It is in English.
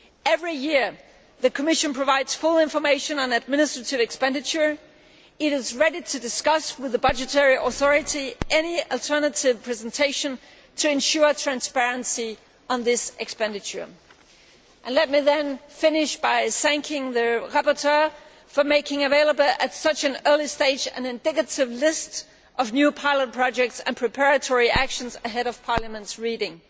Every year the Commission provides full information on administrative expenditure it is ready to discuss with the budgetary authority any alternative presentation to ensure transparency on this expenditure. Let me finish by thanking the rapporteur for making available at such an early stage an indicative list of new pilot projects and preparatory actions ahead of Parliament's reading.